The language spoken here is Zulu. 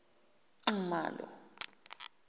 nxumalo